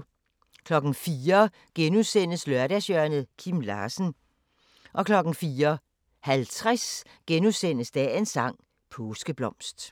04:00: Lørdagshjørnet – Kim Larsen * 04:50: Dagens sang: Påskeblomst *